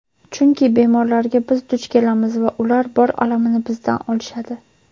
Chunki bemorlarga biz duch kelamiz va ular bor alamini bizdan olishadi!.